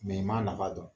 i m'a nafa dɔn